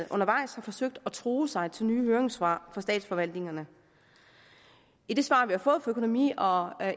undervejs har forsøgt at true sig til nye høringssvar fra statsforvaltningerne i det svar vi har fået fra økonomi og